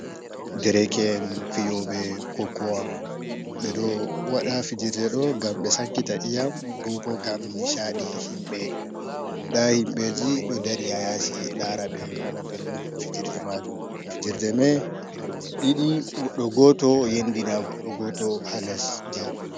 Ɗereke en fiyobe kokowa. beɗo waɗa fijerɗe do ngam ɓe sankita iyam. bobo ngam misaɗi himbe. Nda himbeji ɗo dari ha yasi lara be nana belɗum. fijerɗe majun fijerɗe mai yiɗi goɗɗo goto yendina goɗɗo goto ha lesɗi.